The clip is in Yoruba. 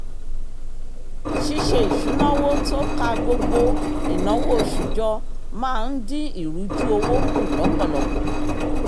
ṣíṣe isunawo tó kà gbogbo ináwó oṣù jọ máa ń dín ìrùjú owó kù lọ́pọ̀lọpọ̀